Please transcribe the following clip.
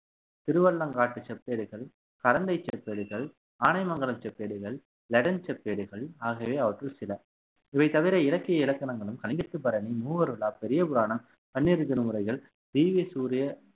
திருவள்ளங்காட்டு செப்பேடுகள் கரந்தை செப்பேடுகள் ஆனைமங்கல செப்பேடுகள் லெடன் செப்பேடுகள் ஆகியவை அவற்றில் சில இவை தவிர இலக்கிய இலக்கணங்களும் கலிங்கத்துப்பரணி மூவர் உலா பெரியபுராணம் பன்னிரு திருமுறைகள் தீவ்ய சூரிய